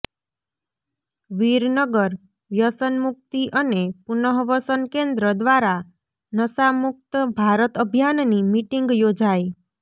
વિરનગર વ્યસન મુકિત અને પુનઃવસન કેન્દ્ર દ્વારા નશામુકત ભારત અભિયાનની મિટીંગ યોજાઇ